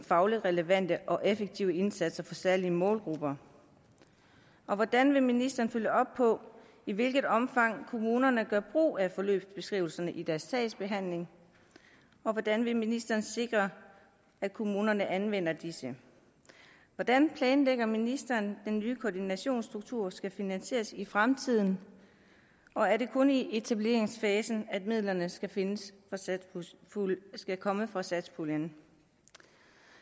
fagligt relevante og effektive indsatser for særlige målgrupper og hvordan vil ministeren følge op på i hvilket omfang kommunerne gør brug af forløbsbeskrivelserne i deres sagsbehandling og hvordan vil ministeren sikre at kommunerne anvender disse hvordan planlægger ministeren at den nye koordinationsstruktur skal finansieres i fremtiden og er det kun i etableringsfasen at midlerne skal findes og skal komme fra satspuljen